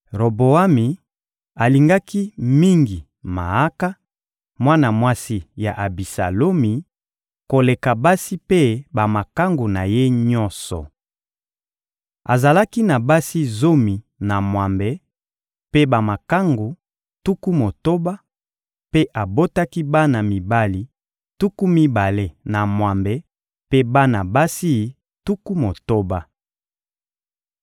Roboami alingaki mingi Maaka, mwana mwasi ya Abisalomi, koleka basi mpe bamakangu na ye nyonso. Azalaki na basi zomi na mwambe mpe bamakangu tuku motoba; mpe abotaki bana mibali tuku mibale na mwambe mpe bana basi tuku motoba.